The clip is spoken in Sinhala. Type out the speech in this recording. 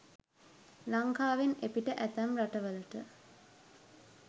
ලංකාවෙන් එපිට ඇතැම් රටවලට